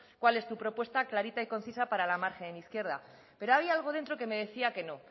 cuál es tu propuesta clarita y concisa para la margen izquierda pero había algo dentro que me decía que no